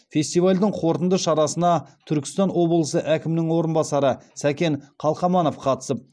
фестивальдің қорытынды шарасына түркістан облысы әкімінің орынбасары сәкен қалқаманов қатысып